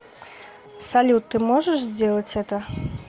салют ты можешь сделать это